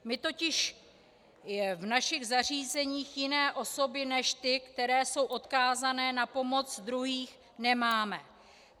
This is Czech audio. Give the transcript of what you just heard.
My totiž v našich zařízeních jiné osoby než ty, které jsou odkázané na pomoc druhých, nemáme.